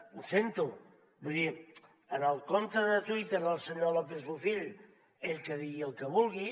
ho sento vull dir en el compte de twitter del senyor lópez bofill ell que digui el que vulgui